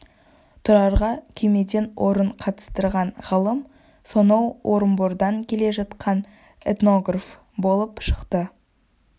тұрарға күймеден орын қатыстырған ғалым соноу орынбордан келе жатқан этнограф болып шықты